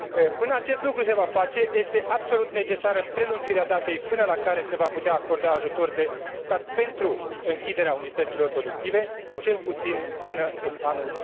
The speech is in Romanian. Până acest lucru se va face, este absolut necesară prelungirea datei până la care se va putea acorda ajutor de stat pentru închiderea unităților productive, cel puțin până în anul